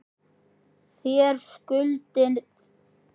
Þér skuldið engum neitt.